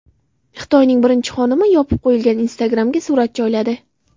Xitoyning birinchi xonimi yopib qo‘yilgan Instagram’ga surat joyladi.